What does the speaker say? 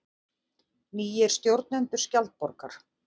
Nýir stjórnendur Skjaldborgar